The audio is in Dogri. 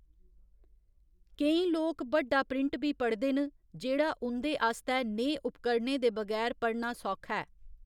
केईं लोक बड्डा प्रिंट बी पढ़दे न, जेह्‌‌ड़ा उं'दे आस्तै नेहे उपकरणें दे बगैर पढ़ना सौखा ऐ।